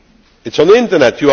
It is on the Internet.